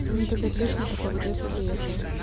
ну так отлично я только в одессу приехала